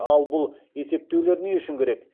ал бұл есептеулер не үшін керек